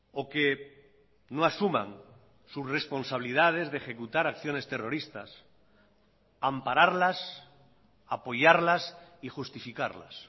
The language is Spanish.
o que no asuman sus responsabilidades de ejecutar acciones terroristas ampararlas apoyarlas y justificarlas